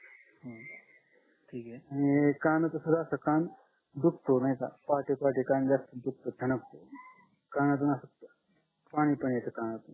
आणि कान असं कान दुखतो ऐका पहाटे पहाटे कान जास्त दुखतो ठणकतो कानातून असं पाणी पण येतं कानातून